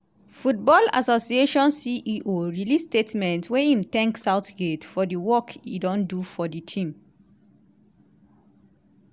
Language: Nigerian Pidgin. football association ceo release statement wey im thank southgate for di work e don do for di team.